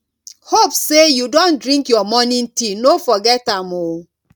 hope say you don drink your morning tea no forget am o